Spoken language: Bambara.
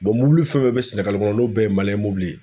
mobili fɛn o fɛn bɛ Sɛnɛgali kɔnɔ n'o bɛɛ ye mobili ye